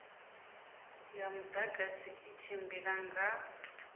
ya mudagasi i tshimbila nga